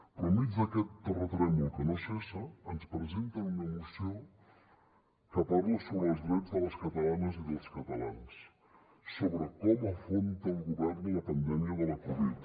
però enmig d’aquest terratrèmol que no cessa ens presenten una moció que parla sobre els drets de les catalanes i dels catalans sobre com afronta el govern la pandèmia de la covid